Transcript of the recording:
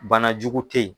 Bana jugu tɛ ye